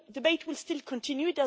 on this. The debate will still